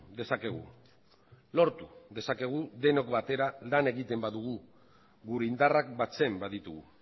dezakegu lortu dezakegu denok batera lan egiten badugu gure indarrak batzen baditugu